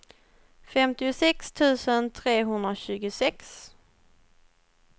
femtiosex tusen trehundratjugosex